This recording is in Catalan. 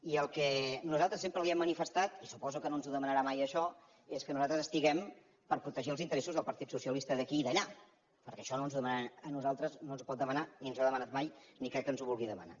i el que nosaltres sempre li hem manifestat i suposo que no ens ho demanarà mai això és que nosaltres estiguem per protegir els interessos del partit socialista d’aquí i d’allà perquè això no ens ho demanarà a nosaltres no ens ho pot demanar ni ens ho ha demanat mai ni crec que ens ho vulgui demanar